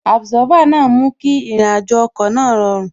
Àbùsófà náà mú kí àrìnàjò ọkọ̀ náà rọrùn